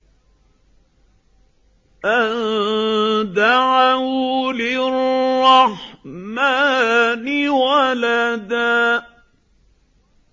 أَن دَعَوْا لِلرَّحْمَٰنِ وَلَدًا